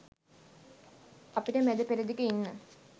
අපිට මැද පෙරදිග ඉන්න